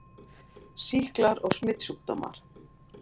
SÝKLAR OG SMITSJÚKDÓMAR